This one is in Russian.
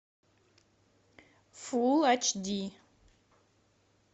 фулл ач ди